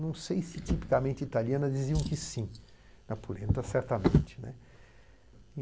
Não sei se tipicamente italiana diziam que sim, na Polenta, certamente, né.